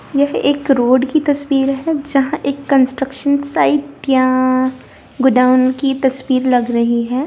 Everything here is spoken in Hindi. यहां एक रोड की तस्वीर है जहां एक कंस्ट्रक्शन साई या गोडाउन की तस्वीर लग रहा है।